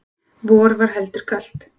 Vor var heldur kalt.